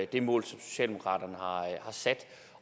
det mål som socialdemokratiet har sat